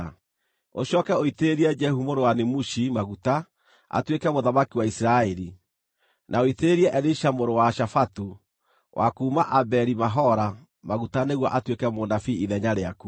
Ũcooke ũitĩrĩrie Jehu mũrũ wa Nimushi maguta atuĩke mũthamaki wa Isiraeli, na ũitĩrĩrie Elisha mũrũ wa Shafatu wa kuuma Abeli-Mehola maguta nĩguo atuĩke mũnabii ithenya rĩaku.